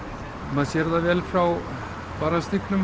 maður sér það vel frá